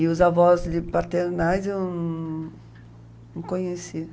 E os avós de, paternais eu não conhecia.